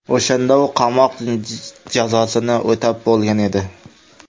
O‘shanda u qamoq jazosini o‘tab bo‘lgan edi.